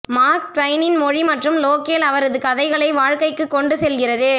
mark ட்வைனின் மொழி மற்றும் லோகேல் அவரது கதைகளை வாழ்க்கைக்கு கொண்டு செல்கிறது